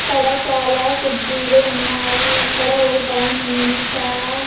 ఇక్కడ కుర్చీలు ఉన్నాయి ఇక్కడ ఒక టైం ఉంది చాలా.